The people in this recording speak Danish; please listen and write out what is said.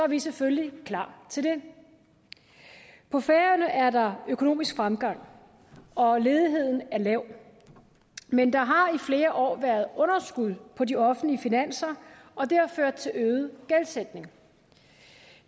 vi selvfølgelig klar til det på færøerne er der økonomisk fremgang og ledigheden er lav men der har i flere år været underskud på de offentlige finanser og det har ført til øget gældssætning